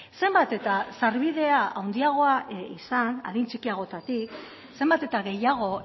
zenbat eta sarbidea handiagoa izan adin txikiagotatik zenbat eta gehiago